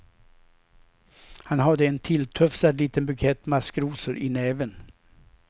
Han hade en tilltufsad liten bukett maskrosor i näven.